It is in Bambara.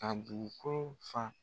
a dugukolo fa.